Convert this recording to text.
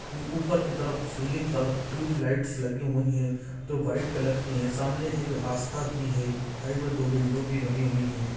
ऊपर कि तरफ़ सिलिंग पर ट्यूब लाईट्स लगे हुए हैं जो व्हाइट कलर की हैं सामने एक रास्ता भी है साइड में दो विंडो भी बने हुए हैं ।